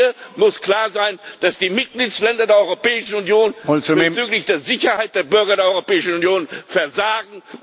Hier muss klar sein, dass die Mitgliedstaaten der Europäischen Union bezüglich der Sicherheit der Bürger der Europäischen Union versagen.